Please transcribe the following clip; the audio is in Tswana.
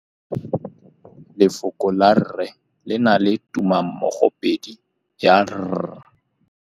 Lefoko la rre le na le tumammogôpedi ya, r.